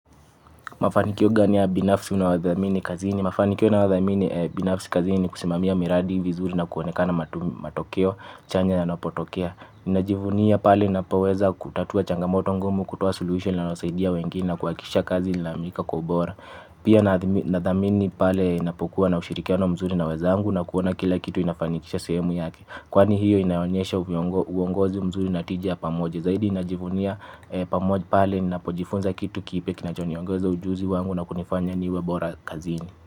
Mafanikio gani ya binafisi unayothamini kazini? Mafanikio nayothamini binafisi kazini ni kusimamia miradi vizuri na kuonekana matokeo chanya yanapotokea. Najivunia pale napoweza kutatua changamoto ngumu kutoa suluhisho linalosaidia wengine na kuhakikisha kazi inakamilika kwa ubora. Pia nathamini pale inapokuwa na ushirikiano mzuri na wenzangu na kuona kila kitu inafanikisha sehemu yake. Kwani hiyo inaonyesha uongozi mzuri na tiji ya pamoja. Zaidi najivunia pamoja pale ninapojifunza kitu kipya kinachoniongeza ujuzi wangu na kunifanya niwe bora kazini.